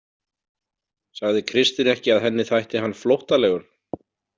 Sagði Kristín ekki að henni þætti hann flóttalegur?